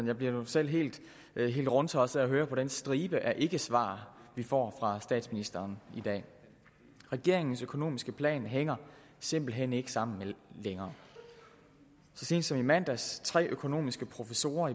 jeg bliver selv helt rundtosset af at høre på den stribe af ikkesvar vi får fra statsministeren i dag regeringens økonomiske plan hænger simpelt hen ikke sammen længere så sent som i mandags undsiger tre økonomiske professorer